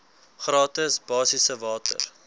gratis basiese water